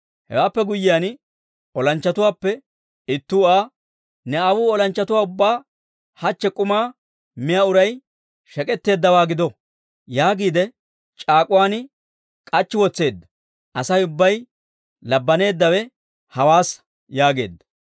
Hewaappe guyyiyaan, olanchchatuwaappe ittuu Aa, «Ne aawuu olanchchatuwaa ubbaa, ‹Hachchi k'uma miyaa uray shek'etteeddawaa gido› yaagiide, c'aak'uwaan k'achchi wotseedda; Asay ubbay labbaneeddawe hawaassa» yaageedda.